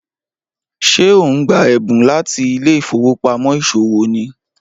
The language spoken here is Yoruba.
Ṣé o n gba ẹbun lati ilé ìfowópamọ́ isowo ni?